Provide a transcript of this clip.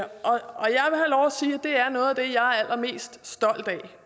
det er noget af det jeg er allermest stolt af